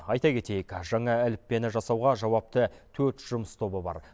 айта кетейік жаңа әліппені жасауға жауапты төрт жұмыс тобы бар